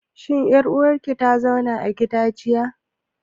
Shin ƴar uwar ki ta zauna a gida jiya?